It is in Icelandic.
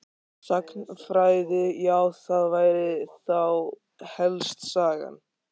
Sagnfræði já það væri þá helst Sagan.